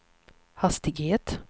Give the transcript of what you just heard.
hastighet